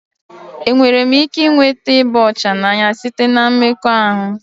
Enwere m ike ịnweta ịba ọcha n'anya site na mmekọahụ?